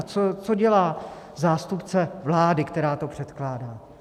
A co dělá zástupce vlády, která to předkládá?